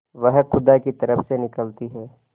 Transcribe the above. वह खुदा की तरफ से निकलती है